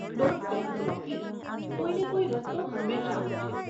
Don't panic Rocky, કોઈને કોઈ રસ્તો હંમેશા હોય છે.